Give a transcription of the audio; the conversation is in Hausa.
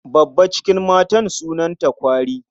Babba cikin matan sunanta kwari.